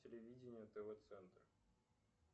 телевидение тв центр